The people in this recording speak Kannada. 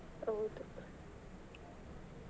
ಹೌದು .